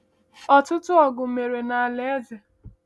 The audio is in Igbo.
Ọtụtụ ọgụ mere n’ala eze.